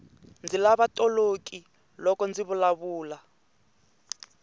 ndzi lava toloki loko ndzi vulavula